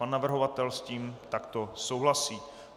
Pan navrhovatel s tím takto souhlasí.